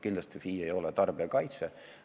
Kindlasti FI ei ole tarbijakaitse.